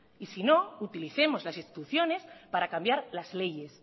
y si no utilicemos las instituciones para cambiar las leyes